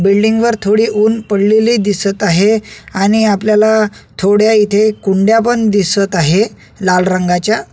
बिल्डिंगवर थोडे ऊन पडलेले दिसत आहे आणि आपल्याला थोड्या इथे कुंड्या पण दिसत आहे लाल रंगाच्या.